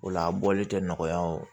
O la a bɔli tɛ nɔgɔya o